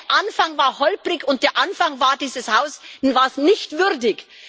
Doch der Anfang war holprig, und der Anfang war dieses Hauses nicht würdig.